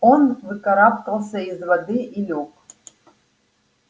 он выкарабкался из воды и лёг